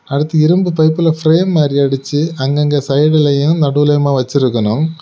அடுத்து இரும்பு பைப்ல ப்ரேம் மாதிரி அடிச்சி அங்கங்க சைடுலையும் நடுவுலயும் வச்சிருக்கணும்.